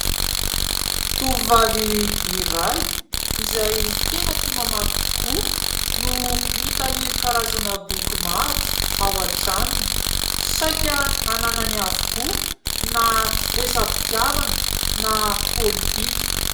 Tovovavy iray izay tena tia mamaky tokoa, no mitahiry karazana boky maro ao an-tranony ; saika hananany avokoa na resa-pitiavana na politika.